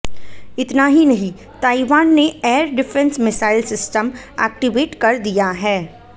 इतना ही नहीं ताइवान ने air defence missile system activate कर दिया है